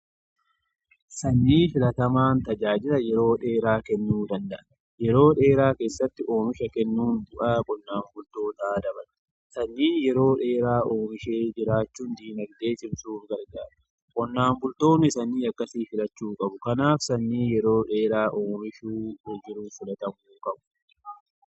Sanyii filatamaan tajaajila yeroo dheeraa kennuu danda'a. Yeroo dheeraa keessatti oomisha kennuun bu'aa qonnaan bultootaa dabala. Sanyii yeroo dheeraa oomishuun diinagdee cimsuuf gargaara. qonnaan bultoonni sanyii akkasii filachuu qabu. Kanaaf sanyii yeroo dheeraa oomishuun filatamuu qaba.